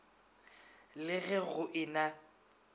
le ge go e na